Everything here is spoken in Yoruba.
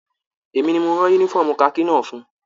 Èmi ní mo rán yúnífọ̀ọ́mù kaki náà fún ùn.